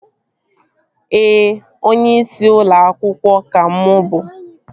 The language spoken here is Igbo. Ee, onyeisi ụlọ akwụkwọ ka mụ bụ